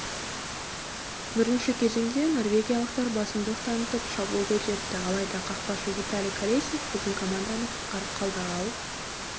бірінші кезеңде норвегиялықтар басымдық танытып шабуылды үдетті алайда қақпашы виталий колесник біздің команданы құтқарып қалды ал